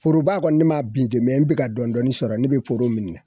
Foroba kɔni ne m'a bin dɛ ne bɛ ka dɔɔnin dɔɔnin sɔrɔ ne bɛ foro minɛ